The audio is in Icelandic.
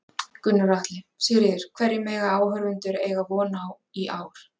Gunnar Atli: Sigríður, hverju mega áhorfendur eiga von á í ár?